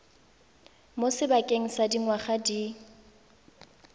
mo sebakeng sa dingwaga di